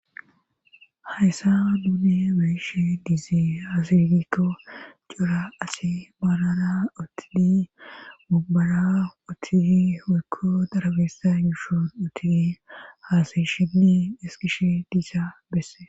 hayssa nuni be'ishie diizy haasidikko cora asi baanana otidi mubbara otidi hoykko darabeessa yushon otidi haasayshinni iskishe diisa beesse